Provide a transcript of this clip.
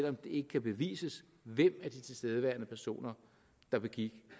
om det ikke kan bevises hvem af de tilstedeværende personer der begik